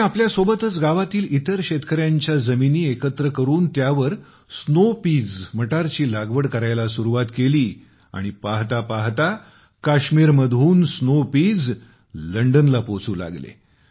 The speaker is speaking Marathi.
त्यांनी आपल्यासोबतच गावातील इतर शेतकऱ्यांच्या जमिनी एकत्र करून त्यावर स्नोपीज मटार ची लागवड करायला सुरुवात केली आणि लवकरच काश्मीरमधून स्नोपीज लंडनला पोहोचू लागले